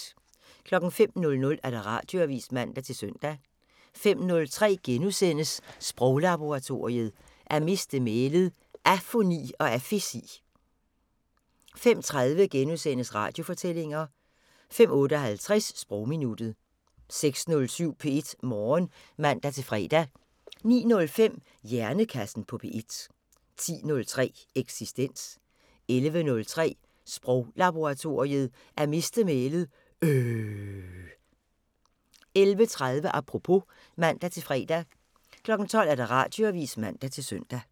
05:00: Radioavisen (man-søn) 05:03: Sproglaboratoriet: At miste mælet - afoni og afesi * 05:30: Radiofortællinger * 05:58: Sprogminuttet 06:07: P1 Morgen (man-fre) 09:05: Hjernekassen på P1 10:03: Eksistens 11:03: Sproglaboratoriet: At miste mælet - øhhhhhhhh 11:30: Apropos (man-fre) 12:00: Radioavisen (man-søn)